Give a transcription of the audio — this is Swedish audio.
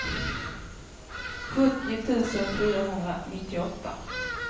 sjuttio tusen fyrahundranittioåtta